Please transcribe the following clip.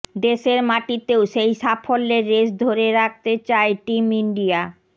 দেশের মাটিতেও সেই সাফল্যের রেশ ধরে রাখতে চায় টিম ইন্ডিয়া